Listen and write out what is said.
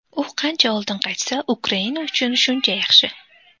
U qancha oldin qaytsa, Ukraina uchun shuncha yaxshi.